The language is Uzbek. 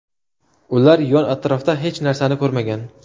Ular yon-atrofda hech narsani ko‘rmagan.